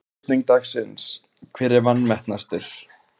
Spurning dagsins: Hver er vanmetnastur?